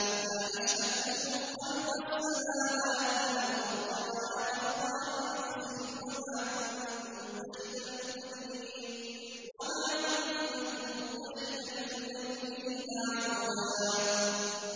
۞ مَّا أَشْهَدتُّهُمْ خَلْقَ السَّمَاوَاتِ وَالْأَرْضِ وَلَا خَلْقَ أَنفُسِهِمْ وَمَا كُنتُ مُتَّخِذَ الْمُضِلِّينَ عَضُدًا